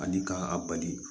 Ani k'a bali